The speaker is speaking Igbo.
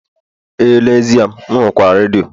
ee n'ezie, m rụkwaa redio